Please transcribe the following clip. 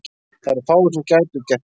Það eru fáir sem gætu gert betur.